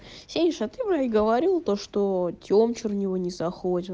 сидишь а ты вроде говорила то что тем чернева низах